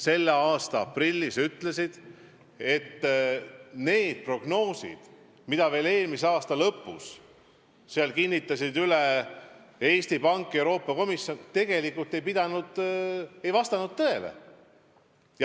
Selle aasta aprillis selgus, et prognoosid, mida veel eelmise aasta lõpus kinnitasid üle Eesti Pank ja Euroopa Komisjon, ei osutunud õigeks.